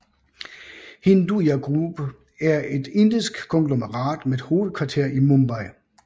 Hinduja Group er et indisk konglomerat med hovedkvarter i Mumbai